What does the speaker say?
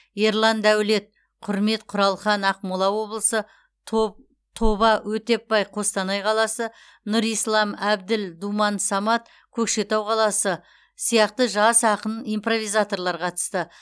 ерлан дәулет құрмет құралхан ақмола облысы то тоба өтепбай қостанай қаласы нұрислам әбділ думан самат көкшетау қаласы сияқты жас ақын импровизаторлар қатысты